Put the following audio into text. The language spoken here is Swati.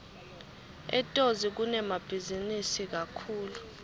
etozi kunemabhizinisi kakhulu